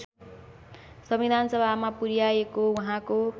संविधानसभामा पुर्‍याएको उहाँको